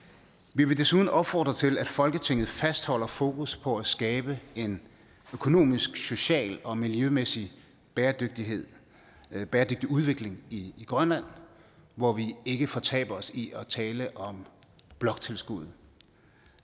vi vil desuden opfordre til at folketinget fastholder fokus på at skabe en økonomisk social og miljømæssig bæredygtig udvikling i grønland hvor vi ikke fortaber os i at tale om bloktilskuddet